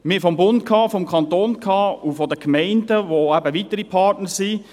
Wir sprechen vom Bund, vom Kanton und von den Gemeinden, welche weitere Partner sind.